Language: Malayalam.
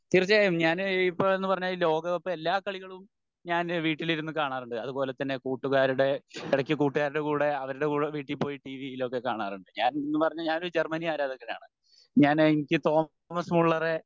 തീർച്ചയായും ഞാന് ഇപ്പൊ എന്നുപറഞ്ഞാൽ ഈ ലോക കപ്പ് എല്ലാ കളികളും ഞാൻ വീട്ടിലിരുന്ന് കാണാറുണ്ട് അതുപോലെ തന്നെ കൂട്ടുകാരുടെ ഇടക്ക് കൊട്ടുകാരുടെ കൂടെ അവരുടെ കൂടെ വീട്ടിൽ പോയി ടീവിയിൽ ഒക്കെ കാണാറുണ്ട് ഞാൻ ഞാന്നെന്ന് പറഞ്ഞാൽ ഒരു ജർമ്മനി ആരാധകൻ ആണ്. ഞാൻ എനിക്ക് തോമസ് മുള്ളറെ